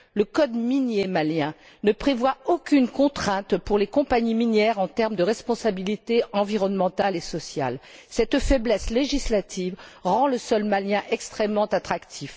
Le code minier malien ne prévoit aucune contrainte pour les compagnies minières en termes de responsabilité environnementale et sociale. Cette faiblesse législative rend le sol malien extrêmement attractif.